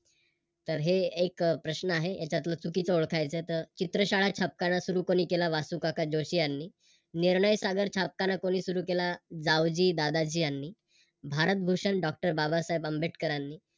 तर हे एक प्रश्न आहे याच्यातल चुकीचं ओळखायचं आहे. तर चित्रशाळा छापखाना सुरू कोणी केला वासूकाका जोशी यांनी आणि निर्णय सागर छापखाना कोणी सुरू केला जावजी दादाजी यांनी भारतभूषण Doctor बाबासाहेब आंबेडकरांनी